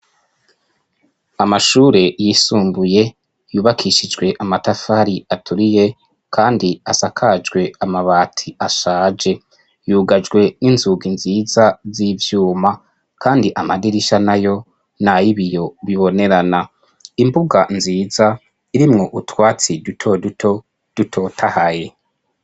amashure yisumbuye yubakishijwe amatafari aturiye kandi asakajwe amabati ashaje yugajwe n'inzugi nziza z'ibyuma kandi amadirisha nayo nayibiyo bibonerana imbuga nziza irimwo utwatsi duto duto dutotahaye